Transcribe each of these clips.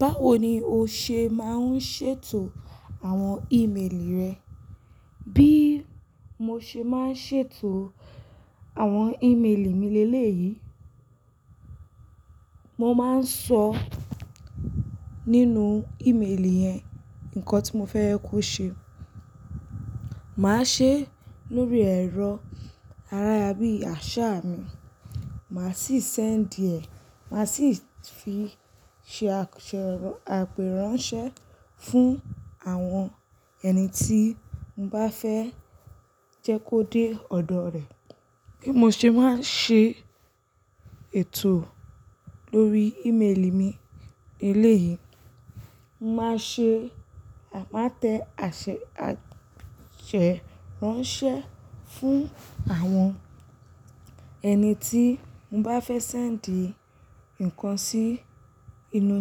Báwo ni o ṣe máa ń ṣètò àwọn ímeèlì rẹ? Bí mo ṣe máa ń ṣètò àwọn ímeèlì mi leléyìí, mo máa ń sọ nínú ímeèlì yẹn, nǹkan tí mo fẹ́ ye kó ṣe. Màá ṣe lórí ẹ̀rọ ara yá bí àṣá mi, màá sì sendi ẹ̀. Màá sì fi ṣe àpèrànṣẹ fún àwọn ẹni tí mo bá fẹ́ jẹ́ kó dé ọ̀dọ̀ rẹ̀. Bí mo ṣe máa ń ṣe ètò lórí ímeèlì mi léleyìí, mo máa ṣe, màá tẹ àṣẹ àtèrànṣẹ fún àwọn ẹni tí mo bá fẹ́ sendi nǹkan sí inú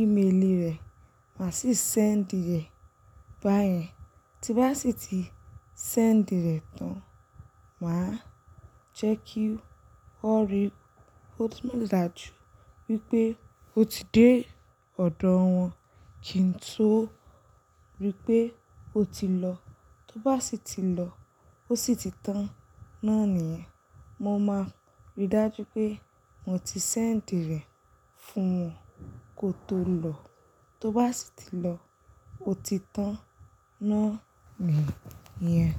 ímeèlì rẹ̀, màá sì sendi rẹ̀ báyẹn. Tí n bá sì ti sendi rẹ̀ tán, màá jẹ́ kí ó rí, ó dáa ju wípé ó ti dé ọ̀dọ̀ wọn, kì n tó ripé ó ti lọ. Tó bá sì ti lọ ó sì ti tán náà níyẹn, mo máa rí dájú pé mo ti send rẹ̀ fún wọn kó tó lọ. Tó bá sì ti lọ ó ti tán náà níyẹn.